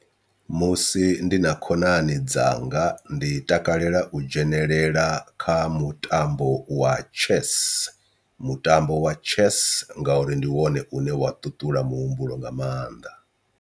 Musi ndi na khonani dzanga ndi takalela u dzhenelela kha mutambo wa chess mutambo wa chess ngauri ndi wone une wa ṱuṱula muhumbulo nga maanḓa.